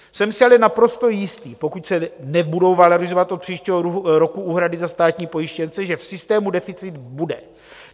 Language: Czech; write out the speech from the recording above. Jsem si ale naprosto jistý, pokud se nebudou valorizovat od příštího roku úhrady za státní pojištěnce, že v systému deficit bude.